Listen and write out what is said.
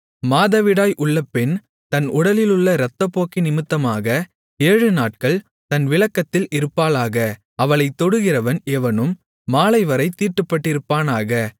மாதவிடாய் உள்ள பெண் தன் உடலிலுள்ள இரத்தப்போக்கினிமித்தமாக ஏழுநாட்கள் தன் விலக்கத்தில் இருப்பாளாக அவளைத் தொடுகிறவன் எவனும் மாலைவரைத் தீட்டுப்பட்டிருப்பானாக